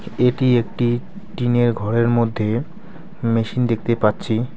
এটি একটি টিনের ঘরের মধ্যে মেশিন দেখতে পাচ্ছি।